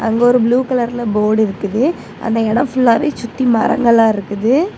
அங்க ஒரு ப்ளூ கலர்ல போர்டு இருக்குது அந்த இடம் ஃபுல்லாவே சுத்தி மரங்களா இருக்குது.